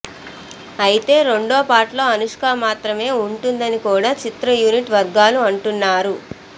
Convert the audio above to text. అయితే రెండవ పార్ట్లో అనుష్క మాత్రమే ఉంటుందని కూడా చిత్ర యూనిట్ వర్గాలు అంటున్నారు